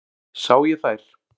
Sá ég þær.